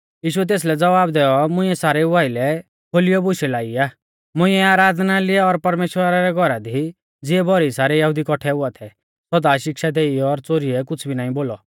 यीशुऐ तेसलै ज़वाब दैऔ मुंइऐ सारेऊ आइलै खोलियौ बुशै लाई ई मुंइऐ आराधनालय और परमेश्‍वरा रै घौरा दी ज़िऐ भौरी सारै यहुदी कौठै हुआ थै सौदा शिक्षा देई और च़ोरिऐ कुछ़ भी नाईं बोलौ